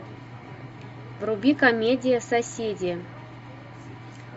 вруби комедия соседи